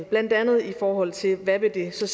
blandt andet i forhold til hvad det så